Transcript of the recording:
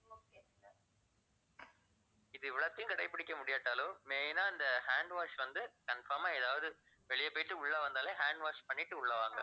இது இவ்வளத்தையும் கடைபிடிக்க முடியாட்டாலும் main ஆ இந்த hand wash வந்து, confirm ஆ எதாவது, வெளிய போயிட்டு உள்ள வந்தாலே hand wash பண்ணிட்டு உள்ள வாங்க